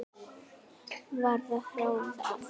Varð að ráði að